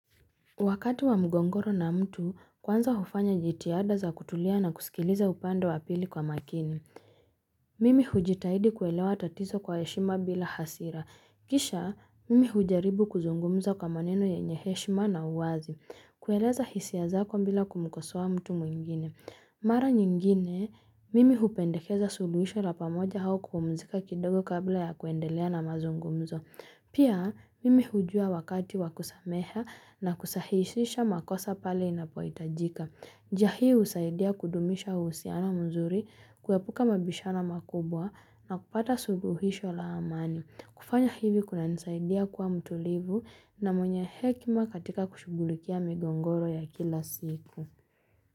Wakati wa mgongoro na mtu, kwanza hufanya jitiada za kutulia na kusikiliza upanda wa pili kwa makini. Mimi hujitahidi kuelewa tatizo kwa heshima bila hasira kisha mimi hujaribu kuzungumza kwa maneno yenye heshima na uwazi. Kueleza hisia zako mbila kumukosoa mtu mwingine. Mara nyingine, mimi hupendekeza suluhisho la pamoja au kupumzika kidogo kabla ya kuendelea na mazungumzo. Pia, mimi hujua wakati wakusamehea na kusahishisha makosa pale inapohitajika. Njia hii husaidia kudumisha uhusiana mzuri, kuepuka mabishano makubwa na kupata suluhisho la amani. Kufanya hivi kunanisaidia kuwa mtulivu, na mwenye hekima katika kushugulikia migongoro ya kila siku.